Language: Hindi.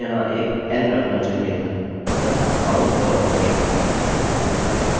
यह कारण है मुझे यहाँ एक n रखना चाहिए था